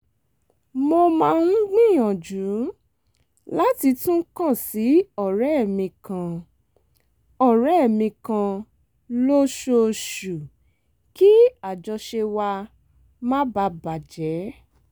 mo máa ń gbìyànjú láti tún kàn sí ọ̀rẹ́ mi kan ọ̀rẹ́ mi kan lóṣooṣù kí àjọṣe wa má baà bà jẹ́